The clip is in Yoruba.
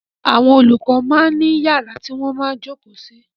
Àwọn olùkọ máa ń ní yàrá tí wọ́n máa ń jókòó sí.